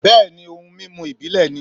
Bẹ́ẹ̀ni ohun mímu ìbílè ni.